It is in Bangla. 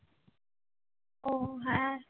ও হ্যাঁ হ্যাঁ